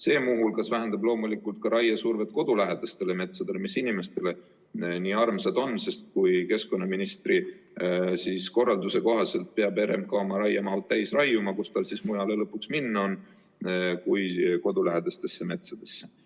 See muu hulgas vähendaks loomulikult raiesurvet kodulähedastele metsadele, mis inimestele nii armsad on, sest kui keskkonnaministri korralduse kohaselt peab RMK oma raiemahud täis raiuma, kus tal siis mujale lõpuks minna on kui mitte kodulähedastesse metsadesse.